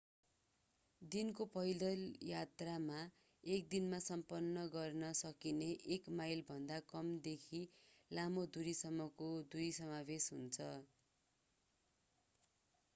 दिनको पैदल यात्रामा एकै दिनमा सम्पन्न गर्न सकिने एक माइलभन्दा कम देखि लामो दूरी सम्मको दूरी समावेश हुन्छ